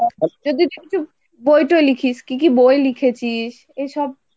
বই টই লিখিস? কি কি বই লিখেছিস? এসব,